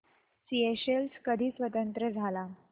Seychelles कधी स्वतंत्र झाला